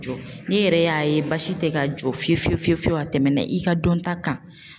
Jɔ n'i yɛrɛ y'a ye basi tɛ ka jɔ fiyewu fiyewu fiye fiyewu a tɛmɛna i ka dɔnta kan.